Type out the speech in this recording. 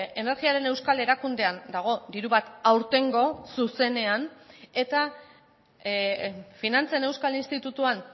energiaren euskal erakundean dago diru bat aurtengo zuzenean eta finantzen euskal institutuan